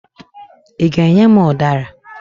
Ị ga-enye m ụdara?